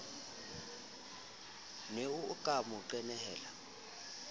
ne o ka mo qenehela